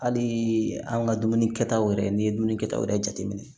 Hali an ka dumuni kɛtaw yɛrɛ n'i ye dumuni kɛ taw yɛrɛ jate minɛ